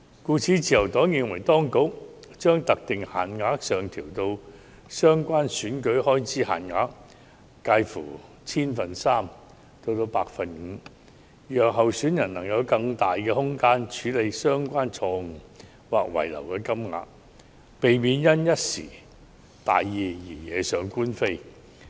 因此，自由黨認同當局將特定限額上調至佔相關選舉開支限額介乎 0.3% 至 5%， 讓候選人有更大空間處理相關錯誤或遺漏金額，避免因一時大意而惹上官非。